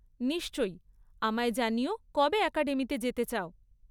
নিশ্চয়, আমায় জানিও কবে অ্যাকাডেমিতে যেতে চাও।